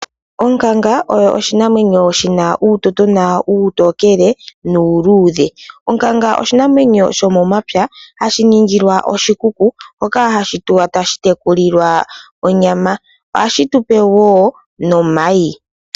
Onkanga oyo oshinamwenyo shina uutotona uutokele noluudhe. Onkanga oshinamwenyo shomomapya hashi ningilwa oshikuku moka hashi tulwa tashitekulilwa onyama, ohashi tupe woo nomayi.